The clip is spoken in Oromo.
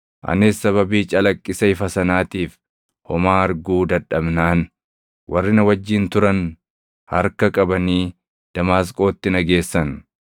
Anis sababii calaqqisa ifa sanaatiif homaa arguu dadhabnaan, warri na wajjin turan harka qabanii Damaasqootti na geessan.